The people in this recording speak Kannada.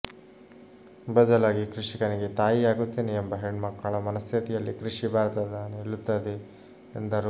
ಬದಲಾಗಿ ಕೃಷಿಕನಿಗೆ ತಾಯಿ ಆಗುತ್ತೇನೆ ಎಂಬ ಹೆಣ್ಮಕ್ಕಳ ಮನಸ್ಥಿತಿಯಲ್ಲಿ ಕೃಷಿ ಭಾರತ ನಿಲ್ಲುತ್ತದೆ ಎಂದರು